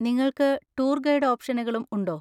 നിങ്ങൾക്ക് tour guide ഓപ്‌ഷനുകളും ഉണ്ടോ?